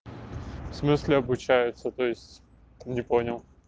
в смысле обучаются то есть не понял